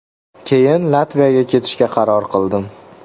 Keyin Latviyaga ketishga qaror qildim.